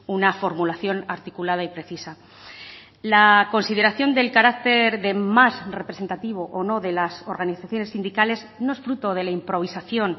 una formulación articulada y precisa la consideración del carácter de más representativo o no de las organizaciones sindicales no es fruto de la improvisación